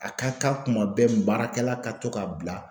A ka kan kuma bɛɛ baarakɛla ka to ka bila